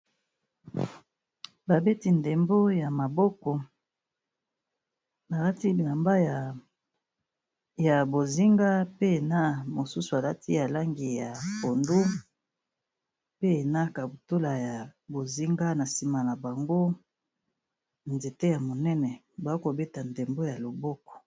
Ba beti ndembo ya maboko alati bilamba ya bozinga, pe na mosusu alati ya langi ya pondu, pe na kaputula ya bozinga, na nsima na bango nzete ya monene, ba kobeta ndembo ya loboko.